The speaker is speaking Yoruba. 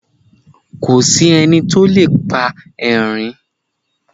kòsí enití ó lè pa erin